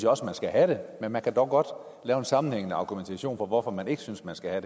også man skal have det men man kan dog godt lave en sammenhængende argumentation for hvorfor man ikke synes at man skal have